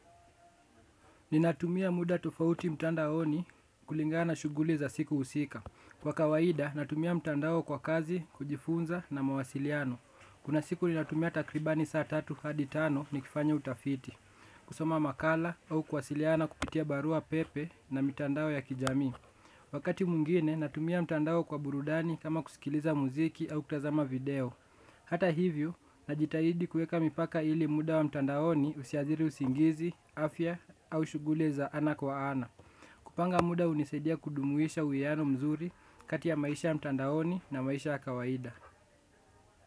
Ninatumia muda tofauti mtandaoni kulingana na shuguli za siku usika. Kwa kawaida, natumia mtandao kwa kazi, kujifunza na mawasiliano. Kuna siku ninatumia takribani saa tatu hadi tano nikifanya utafiti. Kusoma makala au kuwasiliana kupitia barua pepe na mitandao ya kijamii. Wakati mungine, natumia mtandao kwa burudani kama kusikiliza muziki au kutazama video. Hata hivyo, najitahidi kuweka mipaka ili muda wa mtandaoni usiathiri usingizi, afya au shugule za ana kwa ana. Kupanga muda unisaidia kudumuisha uwiano mzuri kati ya maisha ya mtandaoni na maisha ya kawaida.